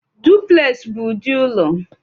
Dupleks bụ ụdị ụlọ